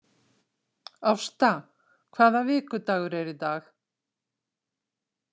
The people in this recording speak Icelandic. Ásta, hvaða vikudagur er í dag?